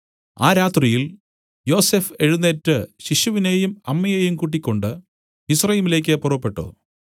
ആ രാത്രിയിൽ യോസഫ് എഴുന്നേറ്റ് ശിശുവിനെയും അമ്മയെയും കൂട്ടിക്കൊണ്ട് മിസ്രയീമിലേക്ക് പുറപ്പെട്ടു